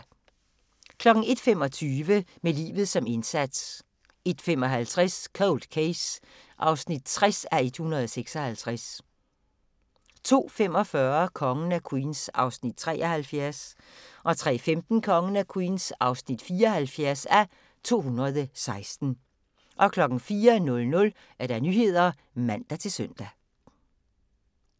01:25: Med livet som indsats 01:55: Cold Case (60:156) 02:45: Kongen af Queens (73:216) 03:15: Kongen af Queens (74:216) 04:00: Nyhederne (man-søn)